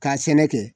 K'a sɛnɛ kɛ